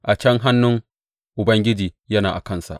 A can hannun Ubangiji yana a kansa.